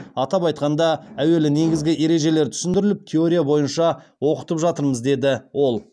атап айтқанда әуелі негізгі ережелер түсіндіріліп теория бойынша оқытып жатырмыз деді ол